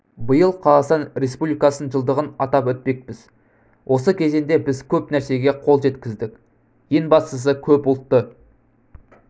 биыл қазақстан республикасының жылдығын атап өтпекпіз осы кезеңде біз көп нәрсеге қол жеткіздік ең бастысы көпұлтты